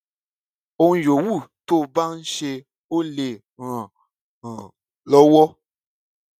ohun yòówù tó bá ń ṣe ó lè ràn án lọwọ